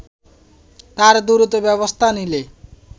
আর দ্রুত ব্যবস্থা নিলে